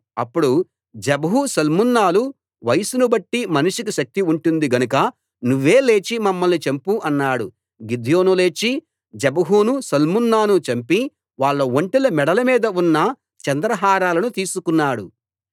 అప్పుడు జెబహు సల్మున్నాలు వయస్సునుబట్టి మనిషికి శక్తి ఉంటుంది గనుక నువ్వే లేచి మమ్మల్ని చంపు అన్నారు గిద్యోను లేచి జెబహును సల్మున్నాను చంపి వాళ్ళ ఒంటెల మెడల మీద ఉన్న చంద్రహారాలను తీసుకున్నాడు